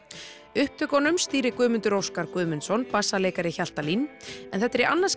upptökunum stýrir Guðmundur Óskar Guðmundsson bassaleikari Hjaltalín en þetta er í annað